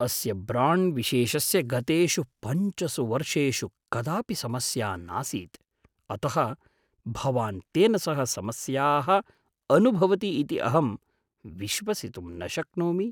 अस्य ब्राण्ड्विशेषस्य गतेषु पञ्चसु वर्षेषु कदापि समस्या नासीत्, अतः भवान् तेन सह समस्याः अनुभवति इति अहं विश्वसितुं न शक्नोमि।